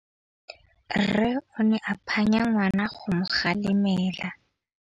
Rre o ne a phanya ngwana go mo galemela.